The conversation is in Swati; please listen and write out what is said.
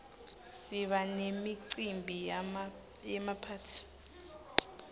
siba nemicimbi yemaphathi